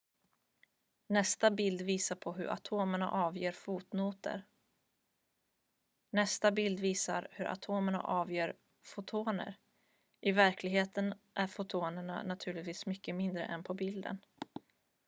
nästa bild visar hur atomerna avger fotoner i verkligheten är fotonerna naturligtvis mycket mindre än de på bilden